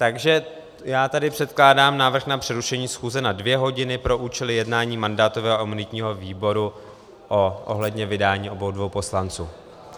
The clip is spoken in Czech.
Takže já tady předkládám návrh na přerušení schůze na dvě hodiny pro účely jednání mandátového a imunitního výboru ohledně vydání obou dvou poslanců.